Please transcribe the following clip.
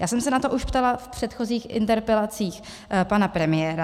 Já jsem se na to už ptala v předchozích interpelacích pana premiéra.